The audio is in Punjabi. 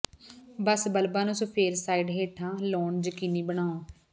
ਬਸ ਬਲਬਾਂ ਨੂੰ ਸਫੈਦ ਸਾਈਡ ਹੇਠਾਂ ਲਾਉਣਾ ਯਕੀਨੀ ਬਣਾਓ